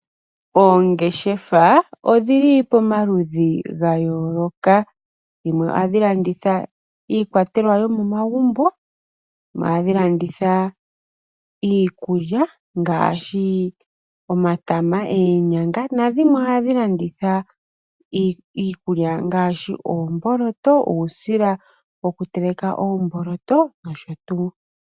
Oongeshefa odhili pamaludhi gayooloka, dhimwe ohadhi landitha iikwatelwa yomomagumbo, dhimwe ohadhi landitha iikulya ngaashi omatama, oonyanga, nadhimwe ohadhi landitha iikulya ngaashi oomboloto, uusila yokuteleka oomboloto nosho tuu.